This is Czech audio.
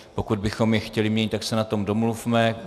Pokud bychom je chtěli měnit, tak se na tom domluvme.